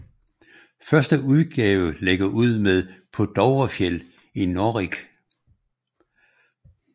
Første udgave lægger ud med Paa Dovrefjeld i Norrig